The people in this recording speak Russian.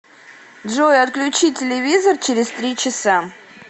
джой отключи телевизор через три часа